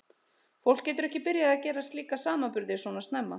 Fólk getur ekki byrjað að gera slíka samanburði svona snemma.